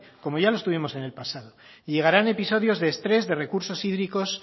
como ya lo tuvimos en el pasado y llegarán episodios de estrés de recursos hídricos